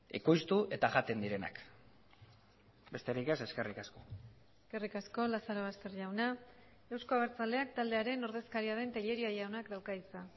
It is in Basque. ekoiztu eta jaten direnak besterik ez eskerrik asko eskerrik asko lazarobaster jauna euzko abertzaleak taldearen ordezkaria den telleria jaunak dauka hitza